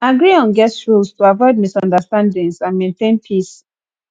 agree on guest rules to avoid misunderstandings and maintain peace